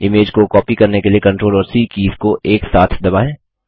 image को copy करने के लिए CTRL और सी कीज़ को एक साथ दबाएँ